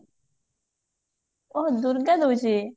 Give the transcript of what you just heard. ଓଃ ଦୂର୍ଗା ଦଉଛି?